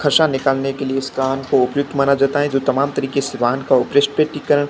हर्षा निकालने के लिए इस कान को उपयुक्त माना जाता है जो तमाम तरिके से कान का --